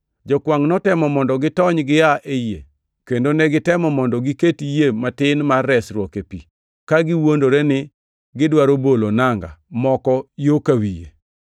Jokwangʼ notemo mondo gitony gia e yie, kendo negitemo mondo giket yie matin mar resruok e pi, ka giwuondore ni gidwaro bolo nanga moko yo ka wi yie.